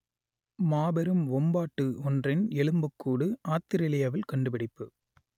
மாபெரும் வொம்பாட்டு ஒன்றின் எலும்புக்கூடு ஆத்திரேலியாவில் கண்டுபிடிப்பு